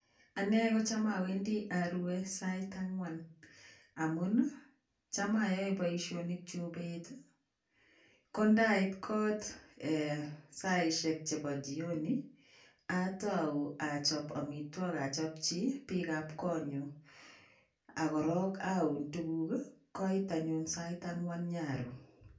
Anne go cham awendi arue sait angwan amun cham ayae boisionikyuk bet, ko ndait kot ee saisiek chebo jioni atau achob amitwogik achopchi biikab konyu ak korok aun tuguk, koit anyun sait angwan nyaru.